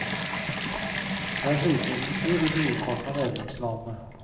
Det er høykonjunktur i brorparten av medlemslandene.